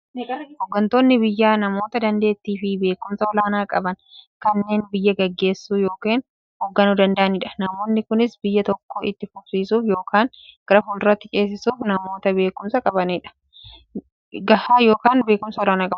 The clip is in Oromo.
Hooggantoonni biyyaa namoota daanteettiifi beekumsa olaanaa qaban, kanneen biyya gaggeessuu yookiin hoogganuu danda'aniidha. Namoonni kunis, biyya tokko itti fufsiisuuf yookiin gara fuulduraatti ceesisuuf, namoota beekumsa gahaa yookiin beekumsa olaanaa qabaniidha.